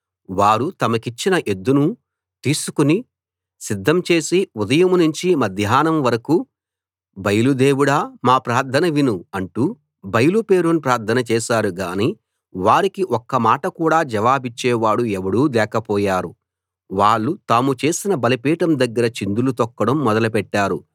వారు తమకిచ్చిన ఎద్దును తీసుకు సిద్ధం చేసి ఉదయం నుంచి మధ్యాహ్నం వరకూ బయలు దేవుడా మా ప్రార్థన విను అంటూ బయలు పేరున ప్రార్థన చేశారు గాని వారికి ఒక్క మాట కూడా జవాబిచ్చేవాడు ఎవడూ లేకపోయారు వాళ్ళు తాము చేసిన బలిపీఠం దగ్గర చిందులు తొక్కడం మొదలు పెట్టారు